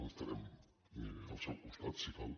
estarem al seu costat si cal